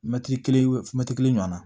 Mɛtiri kelen mɛtiri kelen ɲɔgɔnna